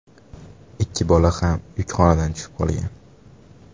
Ikki bola ham yukxonadan tushib qolgan.